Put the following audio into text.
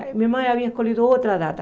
Minha mãe havia escolhido outra data.